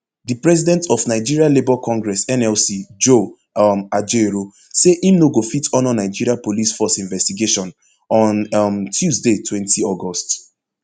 di president of nigeria labour congress nlc joe um ajaero say im no go fit honour nigeria police force investigation on um tuesday twenty august